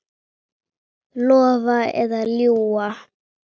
Lofa eða ljúga?